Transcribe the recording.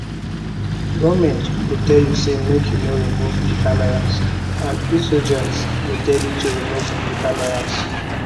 goment go tell you say make you no remove di cameras and insurgents go tell you to remove di cameras